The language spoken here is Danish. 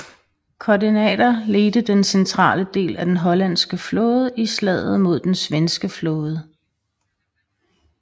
Kortenaer ledte den centrale del af den hollandske flåde i slaget mod den svenske flåde